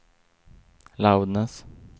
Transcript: loudness